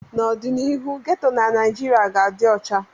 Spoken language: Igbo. N'ọdịnihu, geto na Naijiria ga-adị ọcha